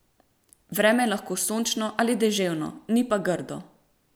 Vreme je lahko sončno ali deževno, ni pa grdo!